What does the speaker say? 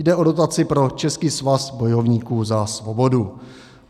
Jde o dotaci pro Český svaz bojovníků za svobodu.